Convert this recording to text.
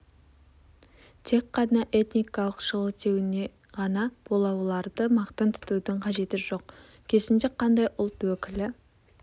тек қана этникалық шығу-тегіне ғана бола оларды мақтан тұтудың қажеті жоқ керісінше қандай ұлт өкілі